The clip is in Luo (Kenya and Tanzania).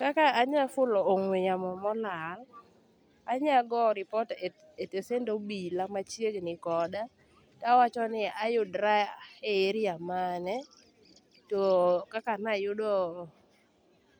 Kaka anyafulo ong'we yamo molal, anya go report esitesend obila machiegni koda towachoni ayudra e area mane too kaka nayudo